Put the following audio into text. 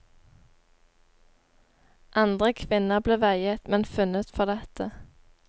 Andre kvinner ble veiet men funnet for lette.